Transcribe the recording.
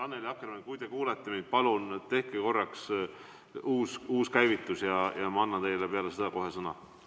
Annely Akkermann, kui te kuulete mind, palun tehke korraks uus käivitus ja ma annan teile kohe pärast seda sõna.